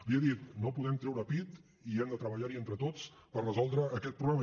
li he dit no podem treure pit i hem de treballar hi entre tots per resoldre aquest problema